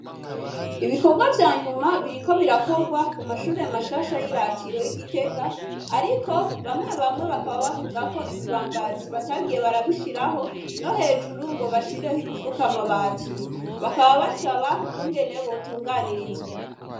Ibikorwa vyanyuma biriko birakorwa ku mashure mashasha y'iratiro y'i Gitega, ariko bamwe bamwe bakaba bavuga Ko ibibambazi batagiye barabishiraho no hejuru ngo bashireho ibifuka amabati. Bakaba basaba ukungene botunganirizwa.